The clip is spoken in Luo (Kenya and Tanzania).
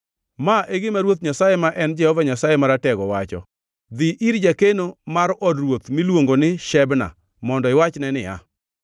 Ma e gima Ruoth Nyasaye ma en Jehova Nyasaye Maratego wacho, Dhi ir jakeno mar od ruoth miluongo ni Shebna mondo iwachne niya,